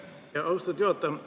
Aitäh, austatud juhataja!